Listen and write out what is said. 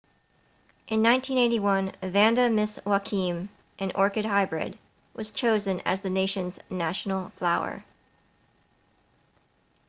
in 1981 vanda miss joaquim an orchid hybrid was chosen as the nation's national flower